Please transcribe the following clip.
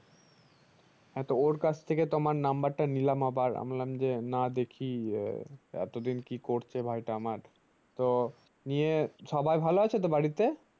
হ্যাঁ তো ওর কাছ থেকে তোমার নম্বর টা নিলাম আবার আমি বললাম যে না দেখি আহ এতদিন কি করছে ভাই টা আমার তো নিয়ে সবাই ভালো আছে তো বাড়িতে ।